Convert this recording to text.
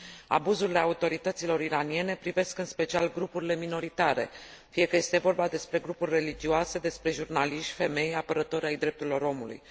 Abuzurile autorităților iraniene privesc, în special, grupurile minoritare, fie că este vorba despre grupuri religioase, despre jurnaliști, femei sau apărători ai drepturilor omului.